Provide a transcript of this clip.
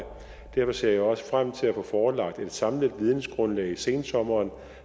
derfor ser jeg også frem til at få forelagt et samlet vidensgrundlag i sensommeren